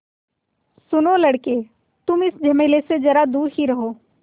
सुनो लड़के तुम इस झमेले से ज़रा दूर ही रहो